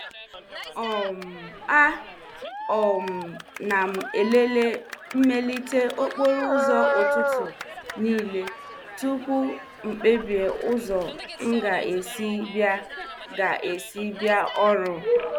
um A um na m elele mmelite okporo ụzọ ụtụtụ niile tupu m kpebie ụzọ m ga-esi bịa ga-esi bịa ọrụ.